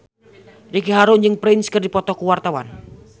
Ricky Harun jeung Prince keur dipoto ku wartawan